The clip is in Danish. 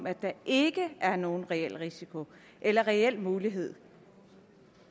at der ikke er nogen reel risiko eller reel mulighed